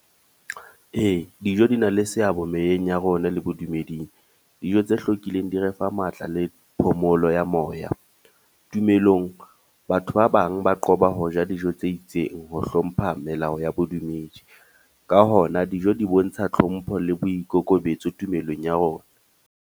Ee, dijo di na le seabo meyeng ya rona le bodumeding. Dijo tse hlwekileng di re fa matla le phomolo ya moya. Tumelong, batho ba bang ba qoba ho ja dijo tse itseng ho hlompha melao ya bodumedi. Ka hona, dijo di bontsha hlompho le boikokobetso tumelong ya rona.